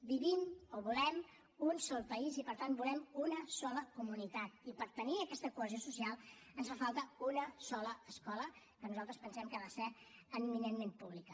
vivim o volem un sol país i per tant volem una sola comunitat i per tenir aquesta cohesió social ens fa falta una sola escola que nosaltres pensem que ha de ser eminentment pública